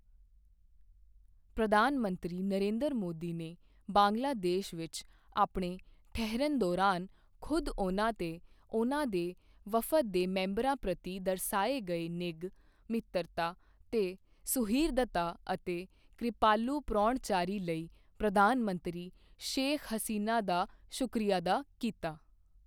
ਪ੍ਰਧਾਨ ਮੰਤਰੀ ਨਰਿੰਦਰ ਮੋਦੀ ਨੇ ਬੰਗਲਾਦੇਸ਼ ਵਿੱਚ ਆਪਣੇ ਠਹਿਰਨ ਦੌਰਾਨ ਖ਼ੁਦ ਉਨ੍ਹਾਂ ਤੇ ਉਨ੍ਹਾਂ ਦੇ ਵਫ਼ਦ ਦੇ ਮੈਂਬਰਾਂ ਪ੍ਰਤੀ ਦਰਸਾਏ ਗਏ ਨਿੱਘ, ਮਿੱਤਰਤਾ ਤੇ ਸੁਹਿਰਦਤਾ ਅਤੇ ਕ੍ਰਿਪਾਲੂ ਪ੍ਰਾਹੁਣਚਾਰੀ ਲਈ ਪ੍ਰਧਾਨ ਮੰਤਰੀ ਸ਼ੇਖ਼ ਹਸੀਨਾ ਦਾ ਸ਼ੁਕਰੀਆ ਅਦਾ ਕੀਤਾ।